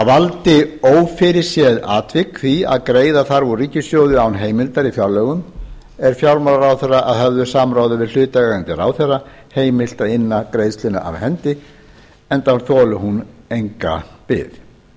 valdi ófyrirséð atvik því að greiða þarf úr ríkissjóði án heimildar í fjárlögum er fjármálaráðherra að höfðu samráði við hlutaðeigandi ráðherra heimilt að inna greiðsluna af hendi enda þoli hún ekki bið